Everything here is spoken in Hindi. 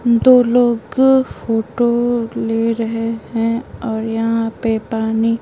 दो लोग फोटो ले रहे हैं और यहां पे पानी --